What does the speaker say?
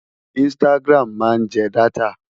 Instagram máa ń jẹ dátà.